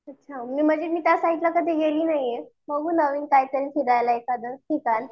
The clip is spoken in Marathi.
अच्छा म्हणजे मी त्यासाईडला कधी गेली नाहीये. बघू नवीन काहीतरी फिरायला एखादं. ठिकाण